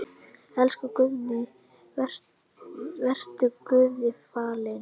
Elsku Guðný, vertu Guði falin.